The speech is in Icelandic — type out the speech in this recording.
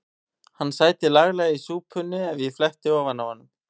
Hann sæti laglega í súpunni ef ég fletti ofan af honum.